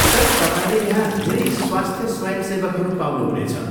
Sir, तपाईँले यहाँ धेरै स्वस्थ्य स्वयंसेवकहरू पाउनुहुनेछ।